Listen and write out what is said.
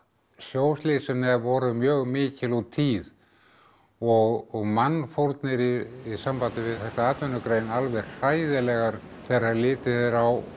sjóslysin voru mjög mikil og tíð og mannfórnir í sambandi við þessa atvinnugrein alveg hræðilegar þegar litið er á